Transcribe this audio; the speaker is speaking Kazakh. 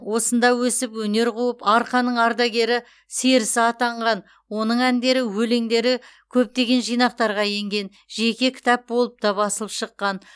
осында өсіп өнер қуып арқаның ардагер серісі атанған оның әндері өлеңдері көптеген жинақтарға енген жеке кітап болып та басылып шыққан